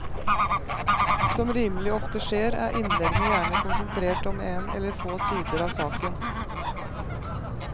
Som rimelig ofte skjer, er innleggene gjerne konsentrert om en eller få sider av saken.